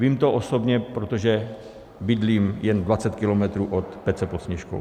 Vím to osobně, protože bydlím jen 20 kilometrů od Pece pod Sněžkou.